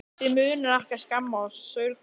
Þig munar ekki um að skemma og saurga.